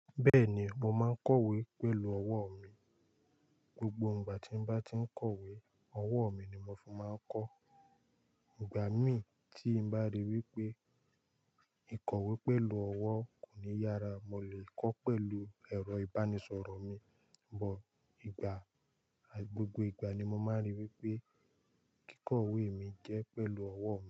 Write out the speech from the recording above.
Bẹ́ẹ̀ni, mo máa ń kọ̀wé pẹ̀lú ọwọ́ mi. Gbogbo ìgbà tí mo bá ti ń kọ̀wé, ọwọ́ mi ni mo fin máa ń kọ. Ìgbà mí tí mo bá ríi wí pé ìkọ̀wé pẹ̀lú ọwọ́ kò ní yára, mo lè kọ́ pẹ̀lú ẹ̀rọ ìbánisọ̀rọ̀ mi. Bọ̀ ìgbà, gbogbo ìgbà ni mo máa ń rí i wí pé kíkọ̀wé mi jẹ́ pẹ̀lú ọwọ́.